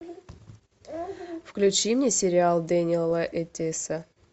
включи мне сериал дениэла этиса